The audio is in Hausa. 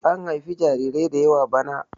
an haifi jarirai da yawa bana!